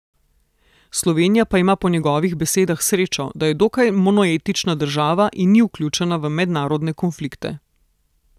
Slovenija pa ima po njegovih besedah srečo, da je dokaj monoetnična država in ni vključena v mednarodne konflikte.